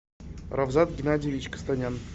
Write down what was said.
равзат геннадьевич костанян